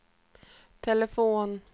telefon